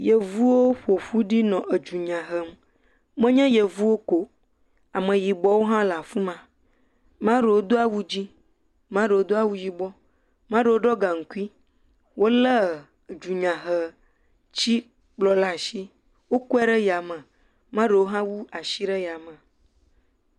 Yevuwo ƒoƒu ɖi nɔ dunya hem, menye yevuwo ko o, ameyibɔwo hã le afi ma, maɖewo do awu dzɛ̃, ame aɖewo do awu yibɔ, ame aɖewo ɖɔ gaŋkui, wolé dunyahetikplɔ ɖe asi ɖe yame, ame aɖewo ha do asi ɖe yame.